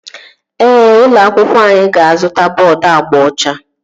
Ee, ụlọ akwụkwọ anyị ga-azụta bọọdu agba ọcha